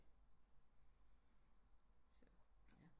Så